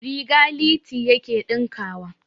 Riga Liti yake ɗinkawa.